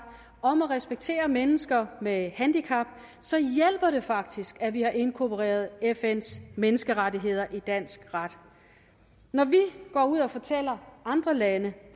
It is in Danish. og om at respektere mennesker med handicap så hjælper det faktisk at vi har inkorporeret fns menneskerettigheder i dansk ret når vi går ud og fortæller andre lande